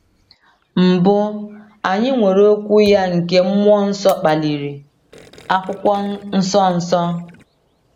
Mbụ, anyị nwere Okwu ya nke mmụọ nsọ kpaliri, Akwụkwọ Nsọ Nsọ.